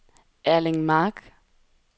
Erling Mark